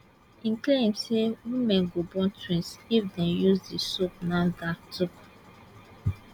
e claim say women go born twins if dem use di soap nafdac tok